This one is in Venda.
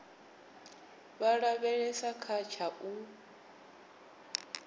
vha lavhelesa kha tsha u